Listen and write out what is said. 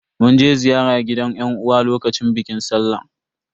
Mun je ziyara gidan yan uwa a lokacin bikin sallah.